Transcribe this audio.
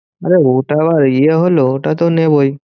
আরে ওটা আবার ইয়ে হলো, ওটা তো নেবোই।